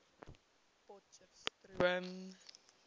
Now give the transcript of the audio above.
potcheftsroom